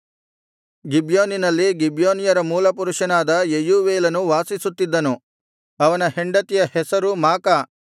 ಗಿಬ್ಯೋನಿನಲ್ಲಿ ಗಿಬ್ಯೋನ್ಯರ ಮೂಲಪುರುಷನಾದ ಯೆಯೂವೇಲನು ವಾಸಿಸುತ್ತಿದ್ದನು ಅವನ ಹೆಂಡತಿಯ ಹೆಸರು ಮಾಕ